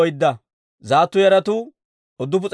Azggaada yaratuu 1,222.